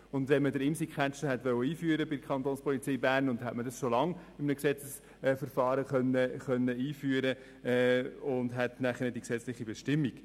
Hätte man den ImsiCatcher bei der Kapo einführen wollen, dann hätte man es in einem Gesetzesverfahren längst tun können, und man hätte längst eine gesetzliche Bestimmung.